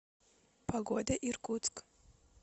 погода иркутск